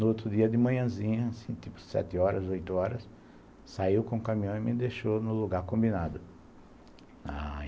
No outro dia, de manhãzinha, tipo sete horas, oito horas, saiu com o caminhão e me deixou no lugar combinado na